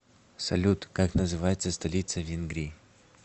салют как называется столица венгрии